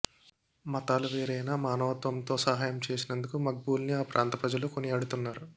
మతాలు వేరైనా మానవత్వంతో సహాయం చేసినందుకు మక్బూల్ని ఆ ప్రాంత ప్రజలు కొనియాడుతున్నారు